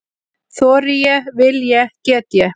Þori ég- vil ég- get ég?